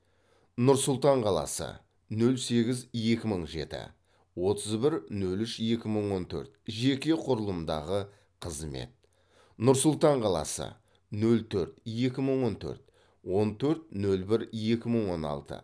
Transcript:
нұр сұлтан қаласы нөл сегіз екі мың жеті отыз бір нөл үш екі мың он төрт жеке құрылымдағы қызмет нұр сұлтан қаласы нөл төрт екі мың он төрт он төрт нөл бір екі мың он алты